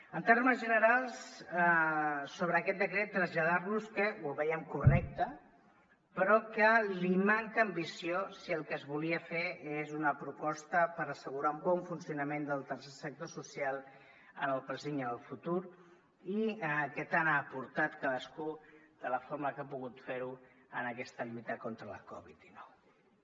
en termes generals sobre aquest decret traslladar los que ho veiem correcte però que li manca ambició si el que es volia fer és una proposta per assegurar un bon funcionament del tercer sector social en el present i en el futur que tant ha aportat cadascú de la forma que ha pogut fer ho en aquesta lluita contra la covid dinou